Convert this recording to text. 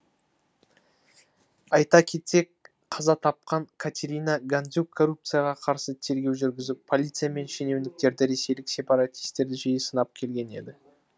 айта кетсек қаза тапқан катерина гандзюк коррупцияға қарсы тергеу жүргізіп полиция мен шенеуніктерді ресейлік сепаратистерді жиі сынап келген еді